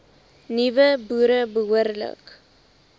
nuwe boere behoorlik